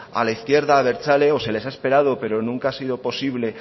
a la izquierda abertzale o se les ha esperado pero nunca ha sido posible